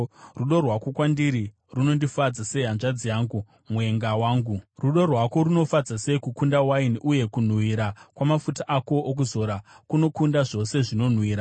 Rudo rwako kwandiri runondifadza sei, hanzvadzi yangu, mwenga wangu! Rudo rwako runofadza sei kukunda waini, uye kunhuhwira kwamafuta ako okuzora kunokunda zvose zvinonhuhwira.